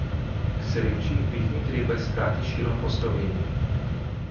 K sreči mi jih ni treba iskati širom po Sloveniji.